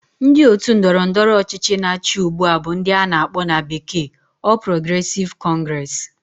Ndi otu Ndọrọ ndọrọ ọchịchị na achi ugba bu ndi ana akpo na bekee All Progressive Congress